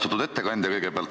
Austatud ettekandja!